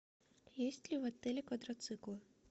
есть ли в отеле квадроциклы